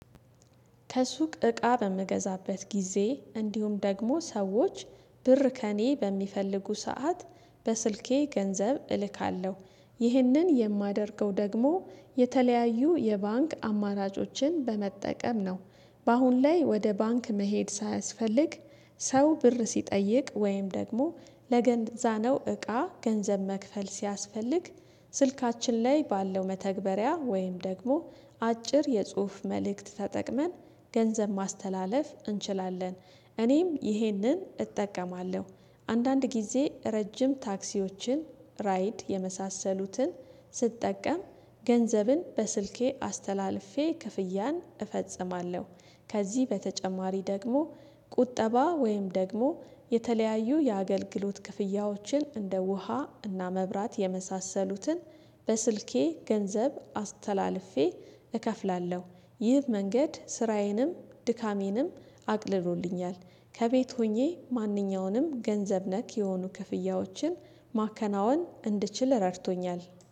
ከሱቅ እቃ በምገዛበት ጊዜ እንዲሁም ደግሞ ሰዎች ብር ከእኔ በሚፈልጉ ሰዓት በስልኬ ገንዘብ እልካለሁ። ይህንን የማደርገው ደግሞ የተለያዩ የባንክ አማራጮችን በመጠቀም ነው። በአሁን ላይ ወደ ባንክ መሄድ ሳያስፈልግ ሰው ብር ሲጠይቅ ወይም ደግሞ ለገንዛ ነው እቃ ገንዘብ መክፈል ሲያስፈልግ ስልካችን ላይ ባለው መተግበሪያ ወይም ደግሞ አጭር የጽሁፍ መልእክት ተጠቅመን ገንዘብ ማስተላለፍ እንችላለን። እኔም ይሄንን እጠቀማለሁ። አንዳንድ ጊዜ ረጅም ታክሲዎችን፣ ራይድ የመሳሰሉትን ስጠቀም ገንዘብን በስልኬ አስተላልፌ ክፍያን እፈጽማለሁ። ከዚህ በተጨማሪ ደግሞ ቁጠባ ወይም ደግሞ የተለያዩ የአገልግሎት ክፍያዎችን እንደ ውሃ እና መብራት የመሳሰሉትን በስልኬ ገንዘብ አስተላልፌ እከፍላለሁ። ይህ መንገድ ስራዬንም፣ ድካሜንም አቅልሎልኛል። ከቤት ሆኜ ማንኛውንም ገንዘብ ነክ የሆኑ ክፍያዎችን ማከናወን እንድችል ረድቶኛል።